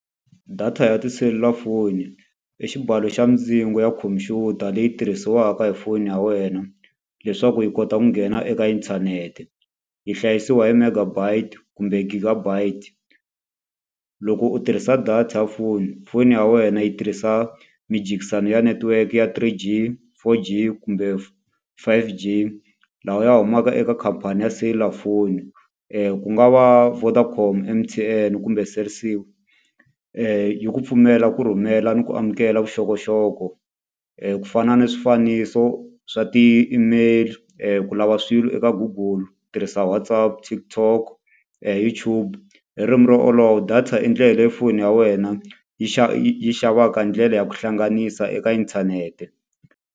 Data ya tiselulafoni, i xibalo xa mindzingo ya khompyuta leyi tirhisiwaka hi foni ya wena, leswaku yi kota ku nghena eka inthanete. Yi hlayisiwa hi megabyte kumber giga byte. Loko u tirhisa data ya foni, foni ya wena yi tirhisa mijikisano ya network ya three G, four G, kumbe five G lawa ya humaka eka khampani ya selulafoni. Ku nga va Vodacom, M_T_N kumbe Cell C. Yi ku pfumellea ku rhumela ni ku amukela vuxokoxoko, ku fana ni swifaniso swa ti-email ku lava swilo eka Google tirhisa WhatsApp, TikTok, YouTube. Hi ririmi ro olova, data i ndlela leyi foni ya wena yi yi yi xavaka ndlela ya ku hlanganisa eka inthanete.